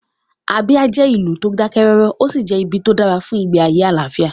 Abia jẹ́ ìlú tó dákẹ́ rọ́rọ́, ó sì jẹ́ ibi tó dára fún ìgbé ayé àlàáfíà